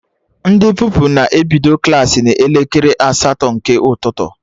Ndị Pupilụ na-ebido Klassị n'elekere asatọ nke ụtụtụ